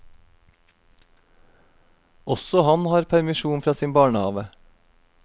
Også han har permisjon fra sin barnehave.